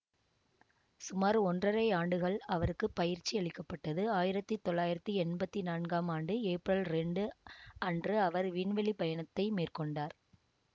சுமார் ஒன்றரை ஆண்டுகள் அவருக்கு பயிற்சி அளிக்க பட்டது ஆயிரத்தி தொள்ளாயிரத்தி என்பத்தி நான்காம் ஆண்டு ஏப்ரல் இரண்டு அன்று அவர் விண்வெளி பயணத்தை மேற்கொண்டார்